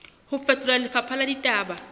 ho fetola lefapha la ditaba